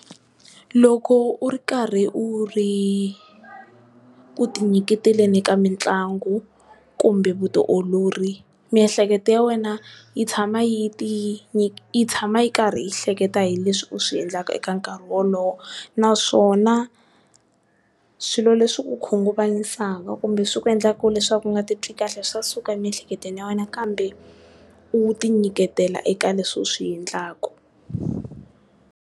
Loko u ri karhi u ri ku ti nyiketeleni ka mitlangu kumbe vutiolori miehleketo ya wena yi tshama yi ti yi tshama yi karhi yi hleketa hileswi u swi endlaka eka nkarhi wolowo. Naswona swilo leswi ku khunguvanyisa kumbe swi ku endlaka leswaku u nga ti twi kahle swa suka emiehleketweni ya wena kambe, u ti nyiketela eka leswi u swiendlaku.